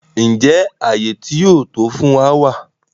Njẹ àyé ti ó to yóò wa fun wa?